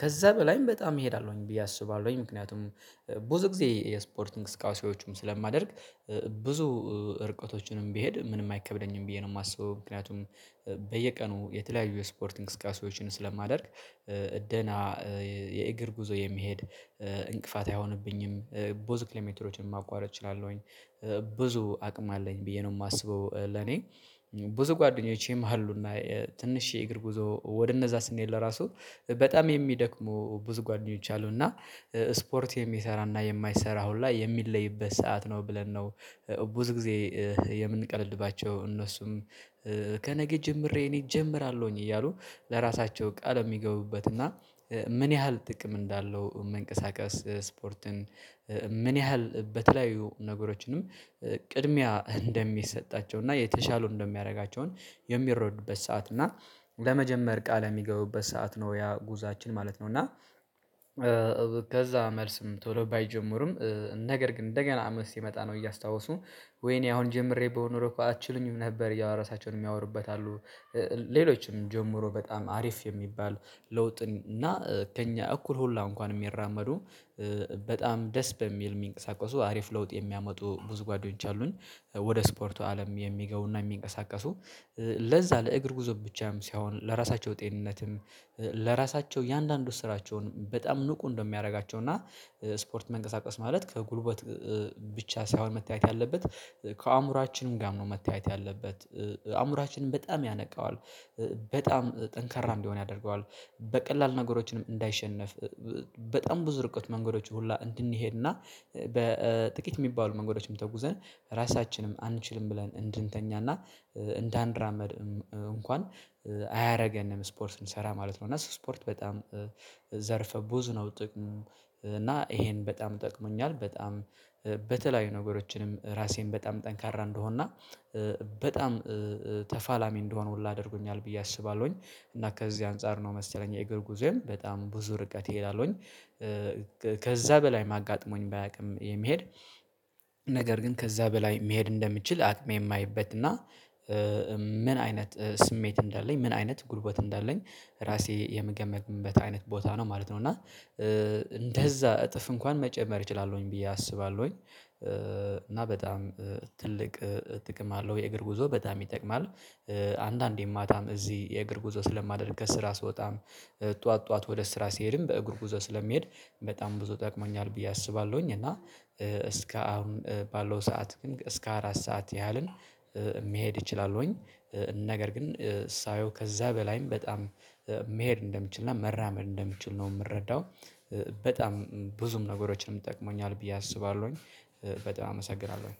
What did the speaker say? ከዛ በላይም በጣም እሄዳለሁኝ ብዬ አስባለሁኝ። ምክንያቱም ብዙ ጊዜ የስፖርት እንቅስቃሴዎችም ስለማደርግ ብዙ እርቀቶችንም ቢሄድ ምንም አይከብደኝም ብዬ ነው የማስበው። ምክንያቱም:- በየቀኑ የተለያዩ የስፖርት እንቅስቃሴዎችን ስለማደርግ- ደህና የእግር ጉዞ የሚሄድ እንቅፋት አይሆንብኝም። ብዙ ኪሎ ሜትሮችን ማቋረጥ እችላለሁኝ። ብዙ አቅም አለኝ ብዬ ነው የማስበው። ለኔ ብዙ ጓደኞቼም አሉና ትንሽ የእግር ጉዞ ወደ እነዛ ስንሄድ ለራሱ በጣም የሚደክሙ ብዙ ጓደኞች አሉ እና ስፖርት የሚሰራና የማይሰራ አሁን ላይ የሚለይበት ሰዓት ነው። ብለን ነው- ብዙ ጊዜ የምንቀልድባቸው እነሱም ከነገ ጀምሬ እኔም እጀምራለሁኝ። እያሉ ለራሳቸው ቃል የሚገቡበት እና ምን ያህል ጥቅም እንዳለው መንቀሳቀስ ስፖርትን- ምን ያህል በተለያዩ ነገሮችንም ቅድሚያ እንደሚሰጣቸው እና የተሻሉ እንደሚያደርጋቸውን የሚረዱበት ሰዓት እና ለመጀመር ቃል የሚገቡበት ሰዓት ነው ያ ጉዛችን ማለት ነው። እና- ከዛ መልስም ቶሎ ባይጀምሩም ነገር ግን እንደገና አመት ሲመጣ ነው እያስታወሱ- ወይኔ አሁን ጀምሬ ብሆን ኖሮ አትችሉኝም ነበር ያው ራሳቸውን የሚያወሩበት አሉ። ሌሎችም ጀምሮ በጣም አሪፍ የሚባል ለውጥን እና ከእኛ እኩል ሁሉ እንኳን የሚራመዱ- በጣም ደስ በሚል የሚንቀሳቀሱ አሪፍ ለውጥ የሚያመጡ ጓደኞች አሉን። ወደ ስፖርቱ አለም የሚገቡ ና የሚንቀሳቀሱ ለዛ ለእግር ጉዞ ብቻም ሳይሆን ለራሳቸው ጤንነትም ለራሳቸው እያንዳንዱ ስራቸውን በጣም ንቁ እንደሚያደርጋቸው እና- ስፖርት መንቀሳቀስ ማለት ከጉልበት ብቻ ሳይሆን መታየት ያለበት ከአእምሮአችንም ጋርም ነው መታየት ያለበት። አእምሮአችንን በጣም ያነቃዋል። በጣም ጠንካራ እንዲሆን ያደርገዋል። በቀላል ነገሮችንም እንዳይሸነፍ በጣም ብዙ ርቀት መንገዶች ሁላ እንድንሄድና በጥቂት የሚባሉ መንገዶችም ተጉዘን ራሳችንም አንችልም ብለን እንድንተኛና እንዳንራመድም እንኳን አያደርገንም ስፖርት እንሰራ ማለት ነው እና ስፖርት በጣም- ዘርፈ ብዙ ነው ጥቅሙ እና ይሄን በጣም ጠቅሞኛል። በጣም- በተለያዩ ነገሮችንም ራሴን በጣም ጠንካራ እንድሆንና በጣም ተፋላሚ እንድሆን ሁሉ አድርጎኛል ብዬ አስባለሁኝ። እና ከዚህ አንፃር ነው መሰለኝ የእግር ጉዞዬም በጣም ብዙ ርቀት እሄዳለሁኝ። ከዛ በላይ አጋጥሞኝ ባያውቅም የሚሄድ ነገር ግን ከዛ በላይ መሄድ እንደምችል አቅሜ የማየበት እና ምን አይነት ስሜት እንዳለኝ: ምን አይነት ጉልበት እንዳለኝ ራሴ የምገመትበት አይነት ቦታ ነው ማለት ነው። እና- እንደዛ እጥፍ እንኳን መጨመር እችላለሁኝ ብዬ አስባለሁኝ። እና በጣም ትልቅ ጥቅም አለው የእግር ጉዞ በጣም ይጠቅማል። አንዳንዴ ማታም እዚህ የእግር ጉዞ ስለማደርግ ከስራ ስወጣም ጠዋት ጠዋት ወደ ስራ ሲሄድም በእግር ጉዞ ስለሚሄድ በጣም ብዙ ጠቅሞኛል ብዬ አስባለሁኝ። እና እስከ አሁን ባለው ሰዓት ግን እስከ አራት ሰዓት ያህልን መሄድ እችላለሁኝ። ነገር ግን ሳየው ከዛ በላይም በጣም መሄድ እንደምችልና መራመድ እንደምችል ነው የምረዳው። በጣም ብዙም ነገሮችንም ይጠቅመኛል ብዬ አስባለሁኝ። በጣም አመሰግናለሁኝ።